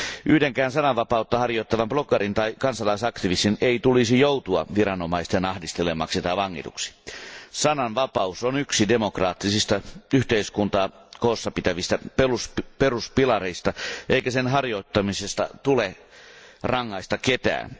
Yhdenkään sananvapautta harjoittavan bloggarin tai kansalaisaktivistin ei tulisi joutua viranomaisten ahdistelemaksi tai vangituksi. Sananvapaus on yksi demokraattisista yhteiskuntaa koossapitävistä peruspilareista eikä sen harjoittamisesta tule rangaista ketään.